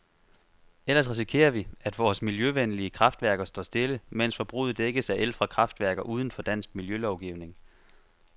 Ellers risikerer vi, at vore miljøvenlige kraftværker står stille, mens forbruget dækkes af el fra kraftværker uden for dansk miljølovgivning.